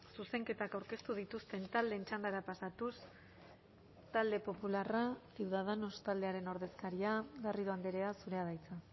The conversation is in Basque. zuzenketak aurkeztu dituzten taldeen txandara pasatuz talde popularra ciudadanos taldearen ordezkaria garrido andrea zurea da hitza